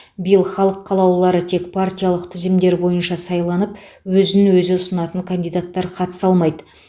биыл халық қалаулылары тек партиялық тізімдер бойынша сайланып өзін өзі ұсынатын кандидаттар қатыса алмайды